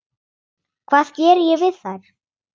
Hvað ég geri við þær?